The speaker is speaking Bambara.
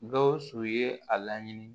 Gawusu ye a laɲini